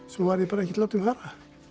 svo var ég bara ekkert látinn fara